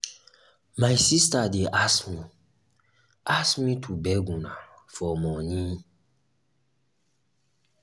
my sister dey as me as me to beg una for money